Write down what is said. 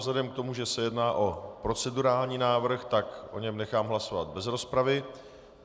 Vzhledem k tomu, že se jedná o procedurální návrh, tak o něm nechám hlasovat bez rozpravy.